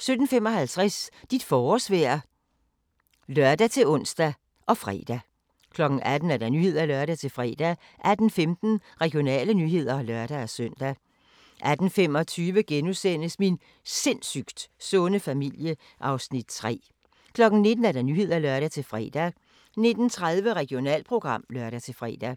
17:55: Dit forårsvejr (lør-ons og fre) 18:00: Nyhederne (lør-fre) 18:15: Regionale nyheder (lør-søn) 18:25: Min sindssygt sunde familie (Afs. 3)* 19:00: Nyhederne (lør-fre) 19:30: Regionalprogram (lør-fre)